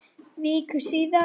Viku síðar.